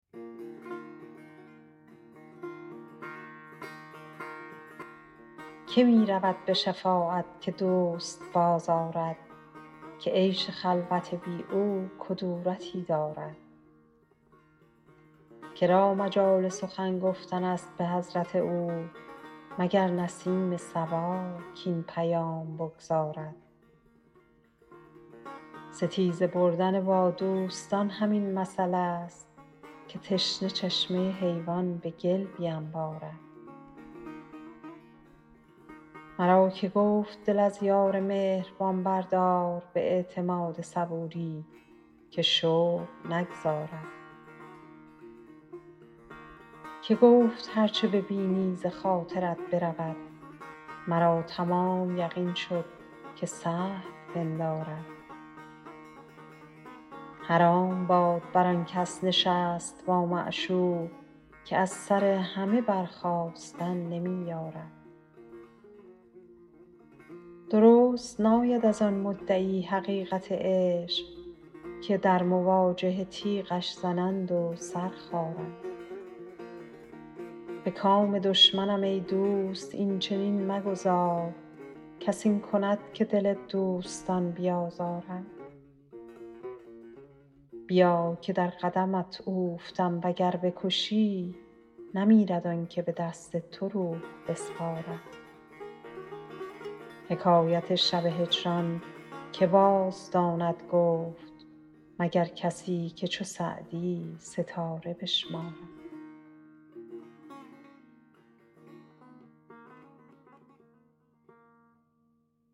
که می رود به شفاعت که دوست بازآرد که عیش خلوت بی او کدورتی دارد که را مجال سخن گفتن است به حضرت او مگر نسیم صبا کاین پیام بگزارد ستیزه بردن با دوستان همین مثلست که تشنه چشمه حیوان به گل بینبارد مرا که گفت دل از یار مهربان بردار به اعتماد صبوری که شوق نگذارد که گفت هر چه ببینی ز خاطرت برود مرا تمام یقین شد که سهو پندارد حرام باد بر آن کس نشست با معشوق که از سر همه برخاستن نمی یارد درست ناید از آن مدعی حقیقت عشق که در مواجهه تیغش زنند و سر خارد به کام دشمنم ای دوست این چنین مگذار کس این کند که دل دوستان بیازارد بیا که در قدمت اوفتم و گر بکشی نمیرد آن که به دست تو روح بسپارد حکایت شب هجران که بازداند گفت مگر کسی که چو سعدی ستاره بشمارد